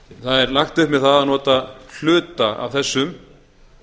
það er lagt upp með það að nota hluta af þessum